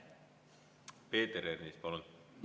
Peeter Ernits, palun!